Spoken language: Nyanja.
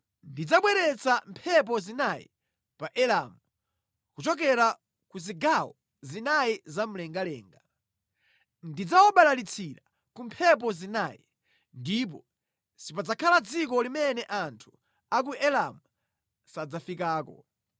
Ndidzabweretsa mphepo zinayi pa Elamu kuchokera ku zigawo zinayi zamlengalenga; ndidzawabalalitsira ku mphepo zinayi, ndipo sipadzakhala dziko limene anthu a ku Elamu sadzafikako.